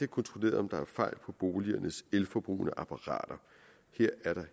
kontrolleret om der er fejl på boligernes elforbrugende apparater her er der